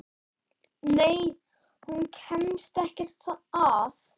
Nei, hún kemst ekkert að.